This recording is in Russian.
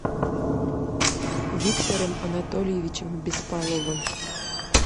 виктором анатольевичем беспаловым